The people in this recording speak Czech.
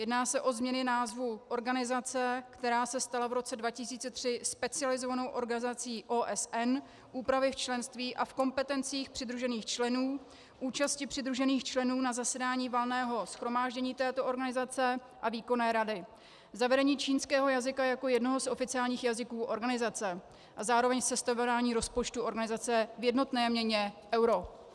Jedná se o změny názvu organizace, která se stala v roce 2003 specializovanou organizací OSN, úpravy v členství a v kompetencích přidružených členů, účasti přidružených členů na zasedání Valného shromáždění této organizace a Výkonné rady, zavedení čínského jazyka jako jednoho z oficiálních jazyků organizace a zároveň sestavování rozpočtu organizace v jednotné měně euro.